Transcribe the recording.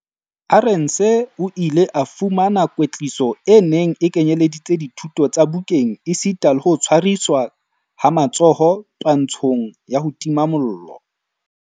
Arendse o ile a fumana kwetliso e neng e kenyeleditse dithuto tsa bukeng esita le ho tshwariswa ha matsoho twantshong ya ho tima mollo.